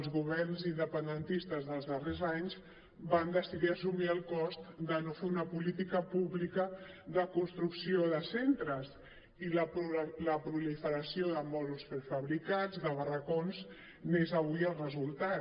els governs independentistes dels darrers anys van decidir assumir el cost de no fer una política pública de construcció de centres i la proliferació de mòduls prefabricats de barracons n’és avui el resultat